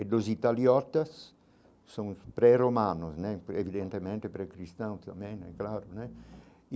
e dos italiotas são pré-romanos né, evidentemente, pré-cristão também, é claro né.